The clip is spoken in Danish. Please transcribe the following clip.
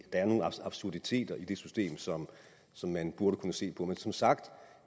er nogle absurditeter i det system som som man burde kunne se på men som sagt